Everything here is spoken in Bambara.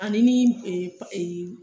Ani min